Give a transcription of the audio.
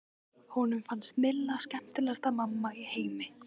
Honum fannst Milla skemmtilegasta mamma í heimi.